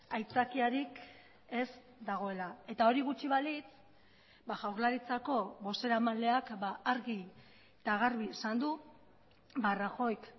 aitzakiarik ez dagoela eta hori gutxi balitz jaurlaritzako bozeramaileak argi eta garbi esan du rajoyk